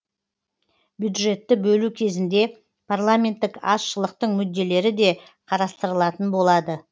бюджетті бөлу кезінде парламенттік азшылықтың мүдделері де қарастырылатын болады